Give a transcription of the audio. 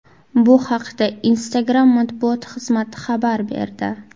Bu haqda Instagram matbuot xizmati xabar berdi .